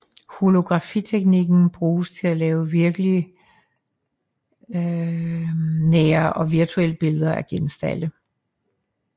Holografiteknikken bruges til at lave virkeligsnære og virtuelle billeder af genstande